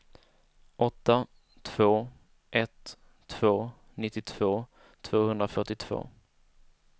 åtta två ett två nittiotvå tvåhundrafyrtiotvå